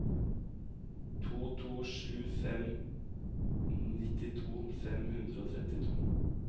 to to sju fem nittito fem hundre og trettito